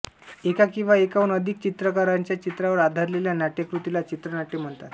एका किंवा एकाहून अधिक चित्रकारांच्या चित्रांवर आधारलेल्या नाट्यकृतीला चित्रनाट्य म्हणतात